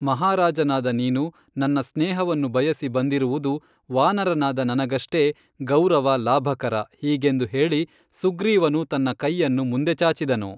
ಮಹಾರಾಜನಾದ ನೀನು ನನ್ನ ಸ್ನೇಹವನ್ನು ಬಯಸಿ ಬಂದಿರುವುದು ವಾನರನಾದ ನನಗಷ್ಟೇ ಗೌರವ ಲಾಭಕರ ಹೀಗೆಂದು ಹೇಳಿ ಸುಗ್ರೀವನು ತನ್ನ ಕೈಯನ್ನು ಮುಂದೆ ಚಾಚಿದನು